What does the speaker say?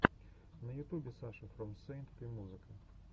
на ютубе саша фром сэйнт пи музыка